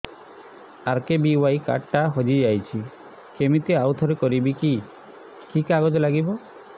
RKBY card ଟା ହଜିଯାଇଛି କିମିତି ଆଉଥରେ କରିବି କି କି କାଗଜ ଲାଗିବ